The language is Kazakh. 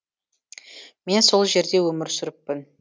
мен сол жерде өмір сүріппін